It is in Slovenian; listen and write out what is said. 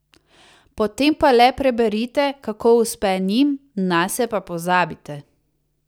Potem pa le preberite, kako uspe njim, nase pa pozabite.